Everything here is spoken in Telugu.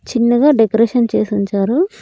చిన్నగా డెకరేషన్ చేసుంచారు.